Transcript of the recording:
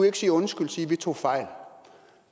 ikke sige undskyld og sige at vi tog fejl